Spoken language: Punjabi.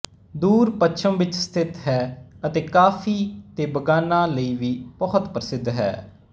ਦੂਰ ਪੱਛਮ ਵਿੱਚ ਸਥਿਤ ਹੈ ਅਤੇ ਕਾਫ਼ੀ ਦੇ ਬਗਾਨਾਂ ਲਈ ਵੀ ਬਹੁਤ ਪ੍ਰਸਿੱਧ ਹੈ